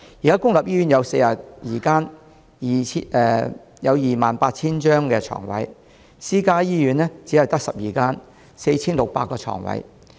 現時公立醫院有42間 ，28000 個床位；私家醫院只有12間 ，4,600 個床位。